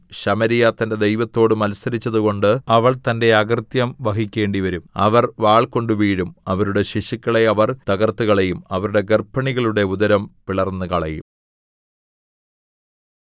ശമര്യ തന്റെ ദൈവത്തോട് മത്സരിച്ചതുകൊണ്ട് അവൾ തന്റെ അകൃത്യം വഹിക്കേണ്ടിവരും അവർ വാൾകൊണ്ടു വീഴും അവരുടെ ശിശുക്കളെ അവർ തകർത്തുകളയും അവരുടെ ഗർഭിണികളുടെ ഉദരം പിളർന്നുകളയും